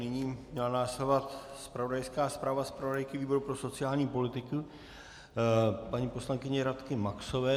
Nyní měla následovat zpravodajská zpráva zpravodajky výboru pro sociální politiku paní poslankyně Radky Maxové.